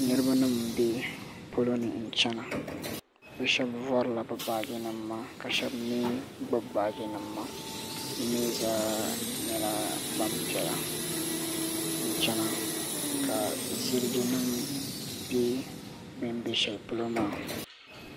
Niriba nima n bɛ polo ni n chana bi shɛba vɔri la bi baaji nima maa ka shɛba mi gbubi baaji nima maa bi mi zaa nyɛla gbanpiɛla n chana ka ziliji nim bɛ bin bɛ shɛli polo maa.